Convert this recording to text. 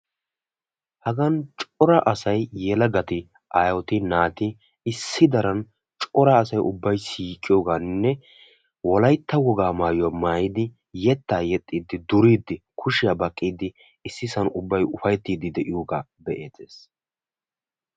Hagan cora asay yelagatti aayetti aawatti wolaytta wogaa yetta yexxiddi ufayttidde de'iyooga be'eetees.